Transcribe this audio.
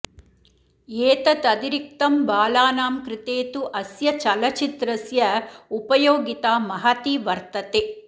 एतदतिरिक्तं बालानां कृते तु अस्य चलच्चित्रस्य उपयोगिता महती वर्तते